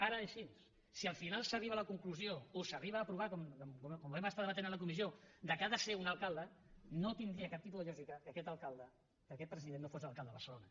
ara és així si el final s’arriba a la conclusió o s’arriba a aprovar com ho vam estar debatent a la comissió que ha de ser un alcalde no tindria cap tipus de lògica que aquest alcalde que aquest president no fos l’alcalde de barcelona